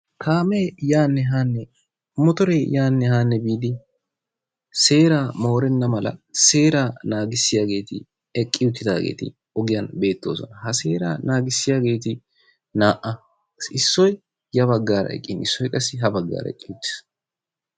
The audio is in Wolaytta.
kaamee yaanne haanne motoree yaanne haanne biidi seeraa moorenna mala seeraa nangissiyageti eqqi uttidaageti ogiyaan beettoosona. Ha seeraa naagisiyaageti naa"a. Issoy ya baggaara eqqin issoy qa ha baggaara eqqi uttiis.